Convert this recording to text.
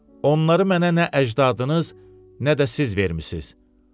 Onları mənə nə əcdadınız, nə də siz vermisiniz.